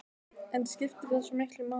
En skiptir það svo miklu máli?